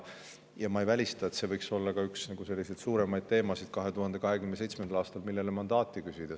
Ja ma ei välista seda, et see võiks olla 2027. aastal üks suuremaid teemasid, millele tuleb mandaati küsida.